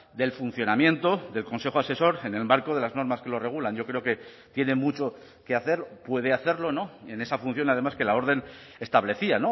del funcionamiento del consejo asesor en el marco de las normas que lo regulan yo creo que tiene mucho que hacer puede hacerlo en esa función además que la orden establecía